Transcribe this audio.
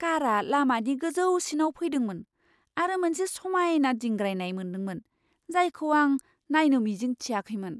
कारआ लामानि गोजौसिनाव फैदोंमोन आरो मोनसे समायना दिंग्रायनाय मोनदोंमोन, जायखौ आं नायनो मिजिंथियाखैमोन!